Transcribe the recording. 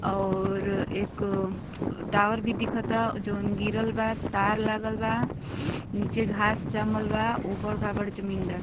और एक टावर भी दिखता जवन गिरल बा। तार लागल बा। नीचे घास जामल बा। उबड़-खाबड़ जमीन बा।